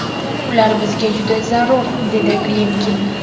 Ular bizga juda zarur, dedi Klimkin.